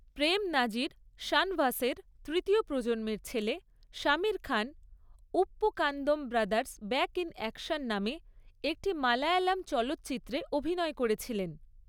প্রেম নাজির শানভাসের তৃতীয় প্রজন্মের ছেলে Shamir Khan, Uppukandam brothers back in action নামে একটি মালায়ালাম চলচ্চিত্রে অভিনয় করেছিলেন।